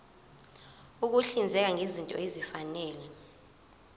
ukuhlinzeka ngezinto ezifanele